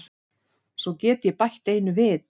Svo get ég bætt einu við.